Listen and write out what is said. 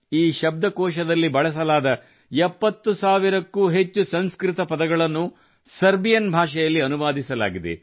ಈ ಶಬ್ದಕೋಶದಲ್ಲಿ ಬಳಸಲಾದ 70 ಸಾವಿರಕ್ಕೂ ಹೆಚ್ಚು ಸಂಸ್ಕೃತ ಪದಗಳನ್ನು ಸರ್ಬಿಯನ್ ಭಾಷೆಯಲ್ಲಿ ಅನುವಾದಿಸಲಾಗಿದೆ